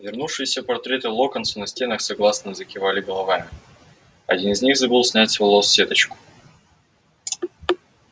вернувшиеся портреты локонса на стенах согласно закивали головами один из них забыл снять с волос сеточку